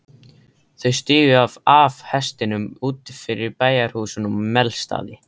Þau stigu af hestunum úti fyrir bæjarhúsunum á Melstað.